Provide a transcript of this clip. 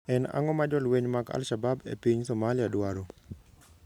En ang'o ma jolweny mag al-Shabab e piny Somalia dwaro?